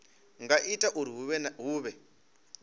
nga ita uri hu vhe